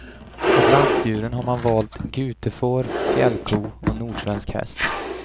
Av lantdjuren har man valt gutefår, fjällko och nordsvensk häst.